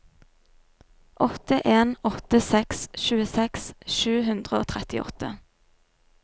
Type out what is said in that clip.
åtte en åtte seks tjueseks sju hundre og trettiåtte